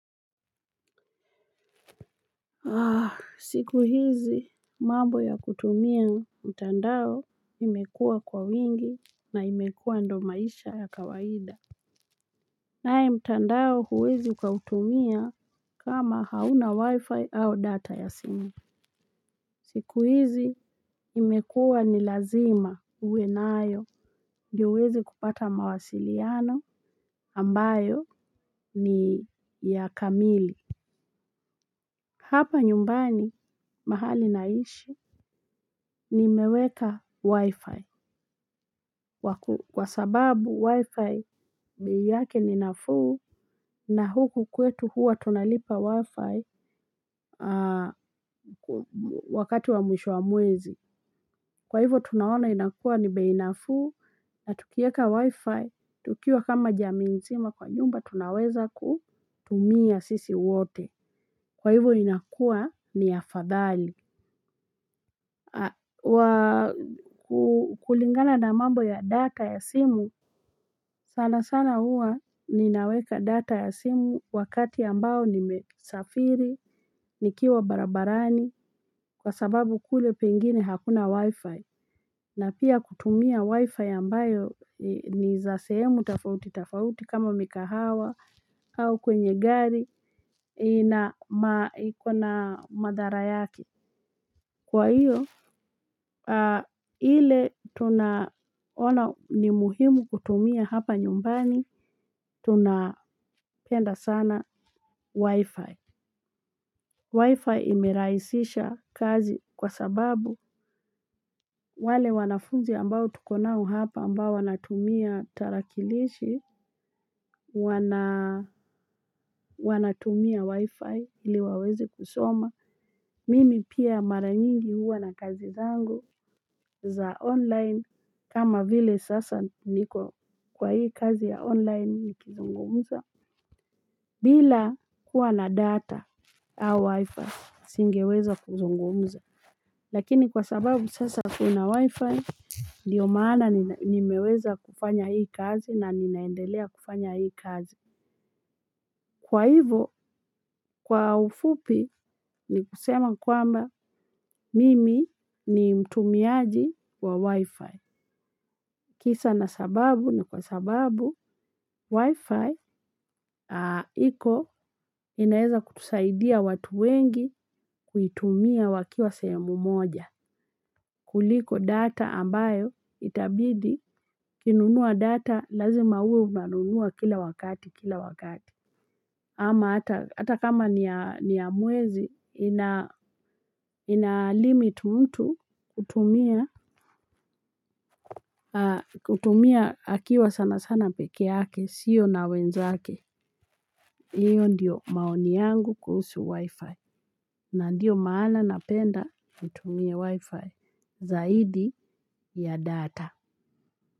Siku hizi mambo ya kutumia mtandao imekuwa kwa wingi na imekuwa ndo maisha ya kawaida. Naye mtandao huwezi ukutumia kama hauna wi-fi a data ya simu. Siku hizi imekuwa ni lazima uwe nayo. Ndio uweze kupata mawasiliano ambayo ni ya kamili. Hapa nyumbani mahali naishi. Nimeweka wi-fi kwa sababu wi-fi yake ni nafuu na huku kwetu huwa tunalipa wi-fi wakati wa mwisho wa mwezi. Kwa hivyo tunaona inakuwa ni bei nafuu na tukieka wi-fi tukiwa kama jamii nzima kwa nyumba tunaweza kutumia sisi wote. Kwa hivyo linakua ni afadhali wa kukulingana na mambo ya data ya simu sana sana huwa ninaweka data ya simu wakati ambao nimesafiri nikiwa barabarani kwa sababu kule pengine hakuna wi-fi na pia kutumia wi-fi ambayo ni za sehemu tofauti tofauti kama mikahawa au kwenye gari ina ma iko na madhara yake. Kwa hiyo, ile tunaona ni muhimu kutumia hapa nyumbani, tunapenda sana wifi. Wifi imerahisisha kazi kwa sababu wale wanafunzi ambao tuko nao hapa ambao wanatumia tarakilishi, wanatumia wifi ili waweze kusoma. Mimi pia mara nyingi huwa na kazi zangu za online kama vile sasa niko kwa hii kazi ya online nikizungumuza. Bila kuwa na data au wifi singeweza kuzungumza. Lakini kwa sababu sasa kuna wifi ndio maana nimeweza kufanya hii kazi na ninaendelea kufanya hii kazi. Kwa hivo kwa ufupi ni kusema kwamba mimi ni mtumiaji wa wi-fi. Kisa na sababu na kwa sababu wi-fi iko inaeza kutusaidia watu wengi kuitumia wakiwa sehemu moja. Kuliko data ambayo itabidi ukinunua data lazima uwe unanunua kila wakati, kila wakati. Ama hata kama ni ya mwezi inalimit mtu kutumia kutumia akiwa sana sana peke yake, sio na wenzake. Hiyo ndiyo maoni yangu kuhusu wifi. Na ndiyo maana napenda kutumia wifi zaidi ya data.